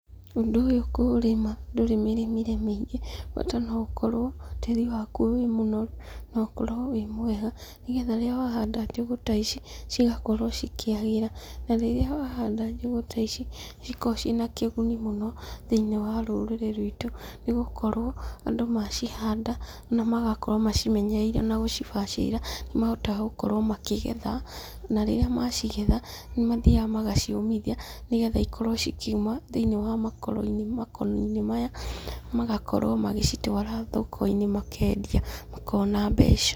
Ũndũ ũyũ kũũrĩma ndũrĩ mĩrĩmĩre mĩingĩ, bata no ũkorwo tĩri waku wĩ mũnoru, na ũkorwo wĩ mwega, nĩgetha rĩrĩa wahanda njũgũ ta ici, cĩgakorwo cigĩkĩagĩra na rĩrĩa wahanda njũgũ ta ici, nĩ cikoragwo ciĩna kĩguni mũno thĩiniĩ wa rũrĩrĩ rwitũ, nĩgũkorwo andũ macihanda, na magakorwo macimenyereire na gũcibacĩrĩra, nĩ mahotaga gũkorwo makĩgetha, na rĩrĩa macigetha, nĩ mathiaga magaciũmithia, nĩgetha cikorwo cikiuma thĩiniĩ wa makoro-inĩ makoni-inĩ maya, magakorwo magĩcitwara thoko-inĩ makendia makona mbeca.